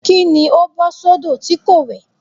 Kí ni ó bọ́ sódò tí kò wẹ̀?